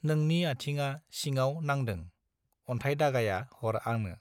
नोंनि आथिङा सिंनाव नांदों अन्थाय दागाया हर आनो